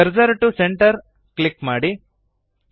cursor to centre click ಮಾಡಿ